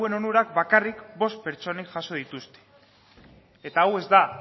onurak bakarrik bost pertsonek jaso dituzte eta hau ez da